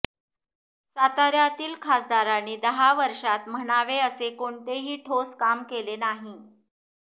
सातार्यातील खासदारांनी दहा वर्षांत म्हणावे असे कोणतेही ठोस काम केले नाही